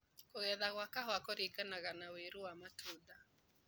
Kũgetha gwa kahũa kũringanaga na wĩru wa matunda.